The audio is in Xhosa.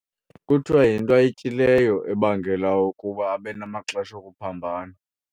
Kuthiwa yinto ayityileyo ebangela ukuba abe namaxesha okuphambana.